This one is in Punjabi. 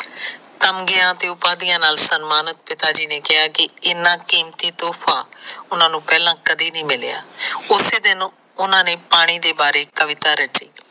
ਤਗਮਿਆ ਤੇ ਉਪਾਧੀਆਂ ਨਾਲ ਸਨਮਾਨਿਤ ਪਿਤਾ ਜੀ ਨੇ ਕਿਹਾ ਇਨਾ ਕੀਮਤੀ ਤੋਫਾ ਉਹਨਾ ਨੂੰ ਪਹਿਲਾ ਕਦੇ ਨਈ ਮਿਲਿਆ ਉਸੇ ਦਿਨ ਉਨਾ ਪਾਣੀ ਦੇ ਬਾਰੇ ਇੱਕ ਕਵਿਤਾ ਲਿਖੀ